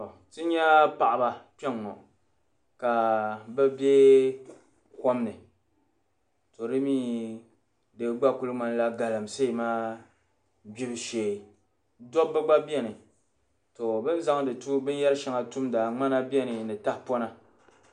Ti nya paɣ'ba kpɛŋɔ ka bɛ kom ni to mi di gba kuli ŋmanila galamsee gbubushee dabba gba bɛni bɛ zaŋ binyɛri shɛŋa tumda ŋmana ni tahipɔna